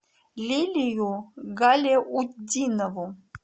лилию галяутдинову